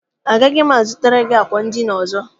Agaghị m a zụtara gị àkwà edina ọzọ.